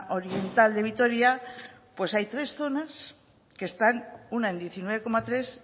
oriental de vitoria pues hay tres zonas que están una en diecinueve coma tres